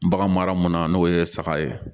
Bagan mara munna n'o ye saga ye